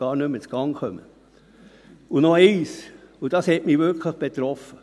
Und noch etwas – und dies hat mich wirklich betroffen: